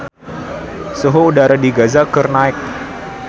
Suhu udara di Gaza keur naek